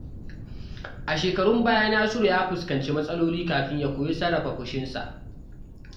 A shekarun baya, Nasiru ya fuskanci matsaloli kafin ya koyi sarrafa fushinsa.